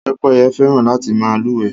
Pẹ́pẹ́yẹ fẹ́ràn láti má lúwèé